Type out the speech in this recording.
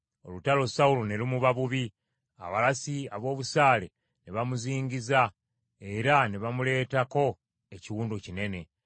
Olutalo Sawulo ne lumuba bubi, abalasi ab’obusaale ne bamuzingiza era ne bamuleetako ekiwundu kinene.